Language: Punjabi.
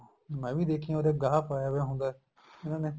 ਮੈਂ ਵੀ ਦੇਖਿਆ ਉਰੇ ਗਾਹ ਪਾਇਆ ਪਿਆ ਹੁੰਦਾ ਇਹਨਾ ਨੇ